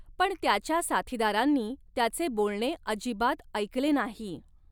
पण त्याच्या साथीदारांनी त्याचे बोलणे अजिबात ऐकले नाही.